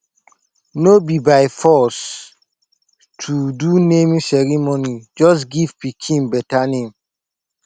no be by force to do naming ceremony just give your pikin better name